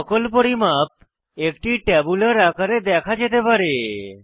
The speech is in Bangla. সকল পরিমাপ একটি ট্যাবুলার আকারে দেখা যেতে পারে